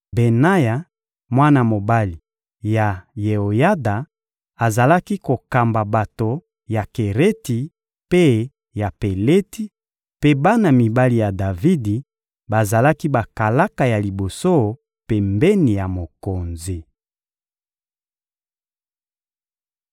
Benaya, mwana mobali ya Yeoyada, azalaki kokamba bato ya Kereti mpe ya Peleti; mpe bana mibali ya Davidi bazalaki bakalaka ya liboso pembeni ya mokonzi.